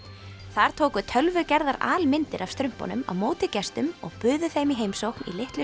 þar tóku tölvugerðar af strumpunum á móti gestum og buðu þeim í heimsókn í litlu